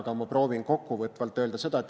Aga ma proovin kokkuvõtvalt midagi öelda.